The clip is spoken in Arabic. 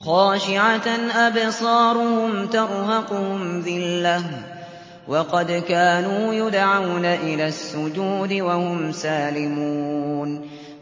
خَاشِعَةً أَبْصَارُهُمْ تَرْهَقُهُمْ ذِلَّةٌ ۖ وَقَدْ كَانُوا يُدْعَوْنَ إِلَى السُّجُودِ وَهُمْ سَالِمُونَ